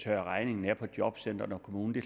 tørre regningen af på jobcenteret og kommunen det